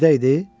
Girdə idi?